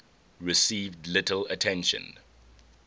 received little attention